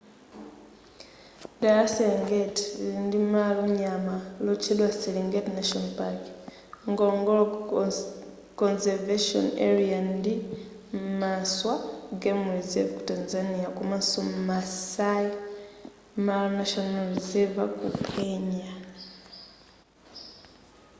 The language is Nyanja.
dera la serengeti lili ndi malo nyama lotchedwa serenget national park ngorongoro conservation area ndi maswa game reserve ku tanzania komanso maasai mara national reserver ku kenya